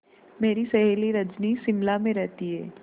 मेरी सहेली रजनी शिमला में रहती है